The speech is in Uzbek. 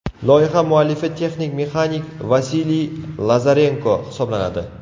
Loyiha muallifi texnik-mexanik Vasiliy Lazarenko hisoblanadi.